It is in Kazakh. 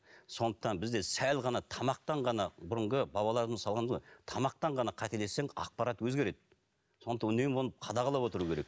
сондықтан бізде сәл ғана тамақтан ғана бұрынғы бабаларымыз тамақтан ғана қателессең ақпарат өзгереді сондықтан үнемі оны қадағалап отыру керек